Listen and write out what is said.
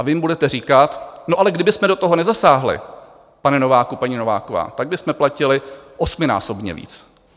A vy jim budete říkat: No ale kdybychom do toho nezasáhli, pane Nováku, paní Nováková, pak bychom platili osminásobně víc.